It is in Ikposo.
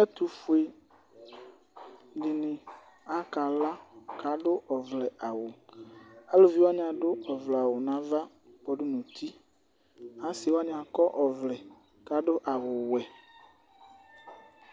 ɛtu dini akala ku adu ɔvlɛ awu eluvi wʋani adu ɔvlɛ awu nu ava kpɔ du nu uti, asi wʋani akɔ ɔvlɛ ku adu awu wɛ,